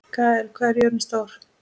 Gael, hvað er jörðin stór?